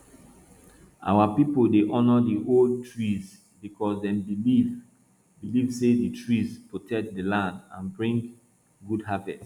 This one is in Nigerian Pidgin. our pipo dey honor di old trees because dem believe believe say di trees protect di land and bring good harvest